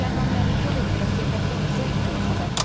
Rəhman Məlikov, Elmira Seyfəddinqızı, ITV xəbər.